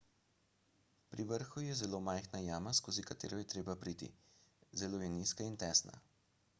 pri vrhu je zelo majhna jama skozi katero je treba priti zelo je nizka in tesna